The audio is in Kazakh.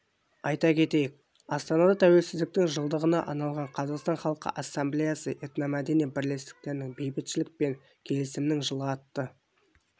айта кетейік астанада тәуелсіздіктің жылдығына арналған қазақстан халқы ассамблеясы этномәдени бірлестіктерінің бейбітшілік пен келісімнің жылы атты